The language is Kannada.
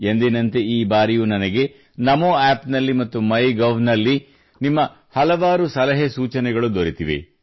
ಎಂದಿನಂತೆ ಈ ಬಾರಿಯೂ ನನಗೆ ನಮೋ ಆಪ್ ನಲ್ಲಿ ಮತ್ತು ಮೈ ಗೌ ನಲ್ಲಿ ನಿಮ್ಮ ಹಲವಾರು ಸಲಹೆ ಸೂಚನೆಗಳು ದೊರೆತಿವೆ